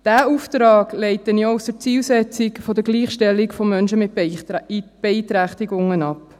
Diesen Auftrag leite ich auch aus der Zielsetzung der Gleichstellung von Menschen mit Beeinträchtigungen ab.